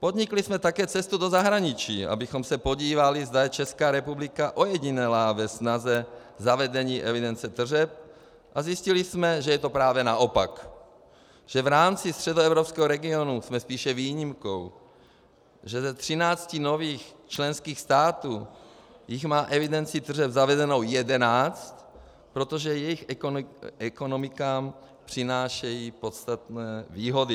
Podnikli jsme také cestu do zahraničí, abychom se podívali, zda je Česká republika ojedinělá ve snaze zavedení evidence tržeb, a zjistili jsme, že je to právě naopak, že v rámci středoevropského regionu jsme spíše výjimkou, že ze 13 nových členských států jich má evidenci tržeb zavedenou 11, protože jejich ekonomikám přináší podstatné výhody.